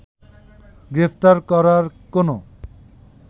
গ্রেফতার করার কোনো